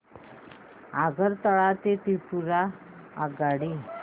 आगरतळा ते त्रिपुरा आगगाडी